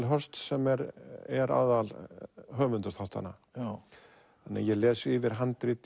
Hirst sem er er aðalhöfundur þáttanna ég les yfir handrit